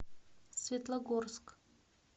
светлогорск